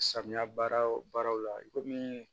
Samiya baaraw baaraw la i komi